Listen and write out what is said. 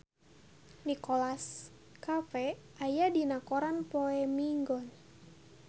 Nicholas Cafe aya dina koran poe Minggon